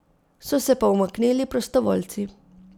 So se pa umaknili prostovoljci.